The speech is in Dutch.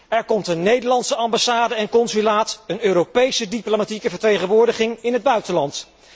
Er komt een Nederlandse ambassade en consulaat, plus een Europese diplomatieke vertegenwoordiging in het buitenland.